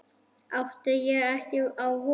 Átti ég ekki á von?